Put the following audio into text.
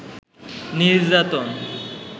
নির্যাতন